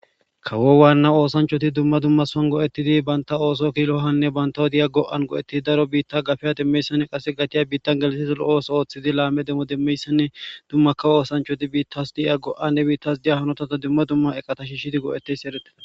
Kawo waanna oosanchoti dumma dumma soan go'ettidi banta ooso kilohanne bantaw diya go'an go'ettidi daro biitta gafeya demmeyssanne qasse gatiya biittan geliseso lo'os ooththidi laame demmo demmeyssanne dummakka oosanchoti biittas di'a go'anne biittas diya hanotata dumma dumma eqata shishidi go'eteys eretteda.